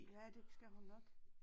Ja det skal hun nok